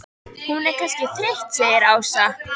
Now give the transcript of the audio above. Hún er kannski þreytt segir Ása.